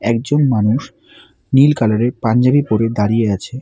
একজন মানুষ নীল কালারের পাঞ্জাবি পড়ে দাঁড়িয়ে আছে।